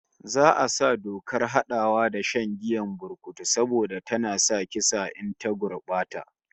Za'a sa dokar hadawa da shan giyar burkutu saboda tana kisa in ta gurbata